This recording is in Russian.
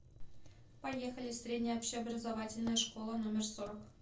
поехали средняя общеобразовательная школа номер сорок